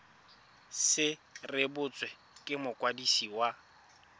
se rebotswe ke mokwadisi wa